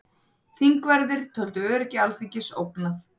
Þingverðir töldu öryggi Alþingis ógnað